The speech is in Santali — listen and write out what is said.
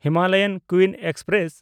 Himalayan queen express